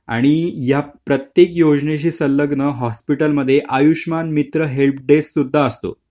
आणि या प्रत्येक योजनेशी संलग्न हॉस्पिटलमध्ये आयुष्मान मित्र हेल्प डेस्क हे सुद्धा असतो.